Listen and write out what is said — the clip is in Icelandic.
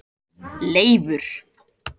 Leifur